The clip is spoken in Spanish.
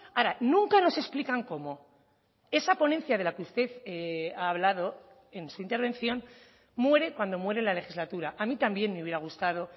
ahora nunca nos explican cómo esa ponencia de la que usted ha hablado en su intervención muere cuando muere la legislatura a mí también me hubiera gustado